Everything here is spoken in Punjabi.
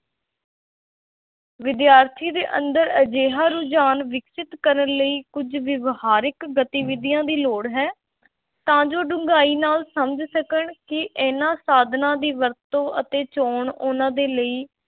ਵਿਦਿਆਰਥੀ ਦੇ ਅੰਦਰ ਅਜਿਹਾ ਰੁਝਾਨ ਵਿਕਸਤ ਕਰਨ ਲਈ ਕੁੱਝ ਵਿਹਾਰਕ ਗਤੀਵਿਧੀਆਂ ਦੀ ਲੋੜ ਹੈ ਤਾਂ ਜੋ ਡੂੰਘਾਈ ਨਾਲ ਉਹ ਸਮਝ ਸਕਣ ਕਿ ਇਹਨਾਂ ਸਾਧਨਾਂ ਦੀ ਵਰਤੋਂ ਅਤੇ ਚੋਣ ਉਹਨਾਂ ਦੇ ਲਈ